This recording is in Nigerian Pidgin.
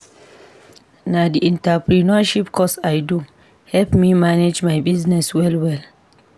Na di entrepreneurship course I do help me manage my business well-well.